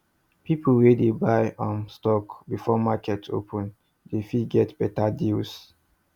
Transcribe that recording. people wey dey buy um stock before market open dey fit get better deals